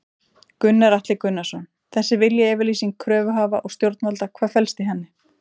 Gunnar Atli Gunnarsson: Þessi viljayfirlýsing kröfuhafa og stjórnvalda, hvað felst í henni?